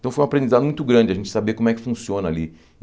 Então foi uma aprendizagem muito grande a gente saber como é que funciona ali.